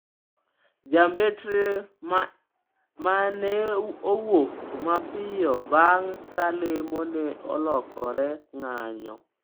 Jambetre ma ne owuok mapiyo bang’ ka lemo ne olokore ng'anyo.